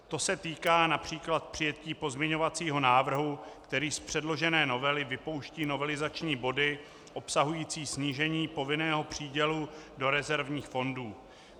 To se týká například přijetí pozměňovacího návrhu, který z předložené novely vypouští novelizační body obsahující snížení povinného přídělu do rezervních fondů.